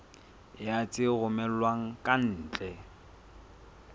ya tse romellwang ka ntle